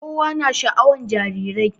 Kowa na sha'awan jarirai